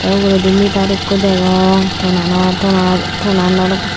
tey ugurudi meter ekkho degong tonanot to na tonanor.